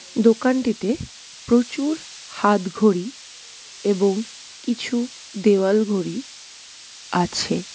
দোকানটিতে প্রচুর হাতঘড়ি এবং কিছু দেওয়াল ঘড়ি আছে।